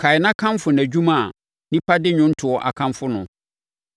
Kae na kamfo nʼadwuma a nnipa de nnwontoɔ akamfo no.